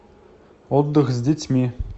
отдых с детьми